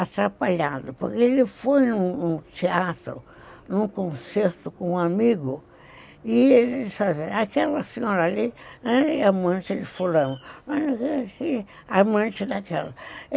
atrapalhado, porque ele foi num num teatro, num concerto com um amigo, e ele diz assim, aquela senhora ali é amante de fulano, mas não sei se amante daquela.